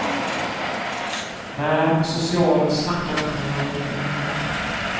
Nä, socialen snackar inte med mig längre.